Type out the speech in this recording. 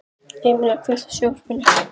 Emelía, kveiktu á sjónvarpinu.